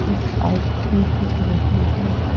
एक बाइक भी दिख रही है।